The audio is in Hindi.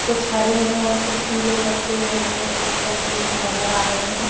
कुछ हरे हैं और कुछ पीले पत्ते हमें इस तस्वीर में नजर आ रहे हैं।